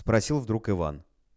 спросил вдруг иван